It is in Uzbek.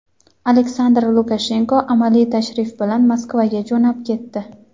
Aleksandr Lukashenko amaliy tashrif bilan Moskvaga jo‘nab ketdi.